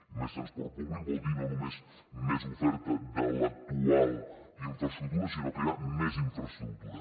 i més transport públic vol dir no només més oferta de l’actual infraestructura sinó crear més infraestructura